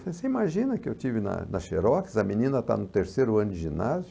Falei, você imagina que eu estive na na Xerox, a menina está no terceiro ano de ginásio.